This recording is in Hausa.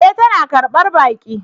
E! tana karbar baki.